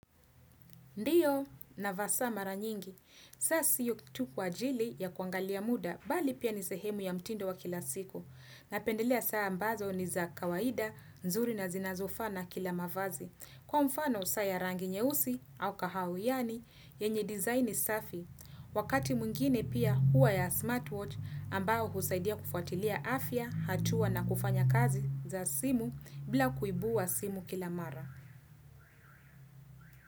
Ndiyo, navaa saa mara nyingi. Saa sio tu kwa ajili ya kuangalia muda, mbali pia ni sehemu ya mtindo wa kila siku. Napendelea saa ambazo ni za kawaida, nzuri na zinazofaa na kila mavazi. Kwa mfano, saa ya rangi nyeusi au kahawa, yaani, yenye design safi. Wakati mwngine pia huwa ya smartwatch ambao husaidia kufuatilia afya, hatua na kufanya kazi za simu bila kuibua simu kila mara.